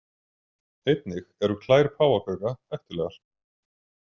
Einnig eru klær páfagauka hættulegar.